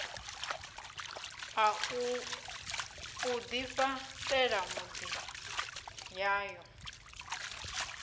u ḓifha ṱela miḓi yayo